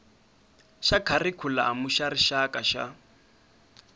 xa kharikhulamu xa rixaka xa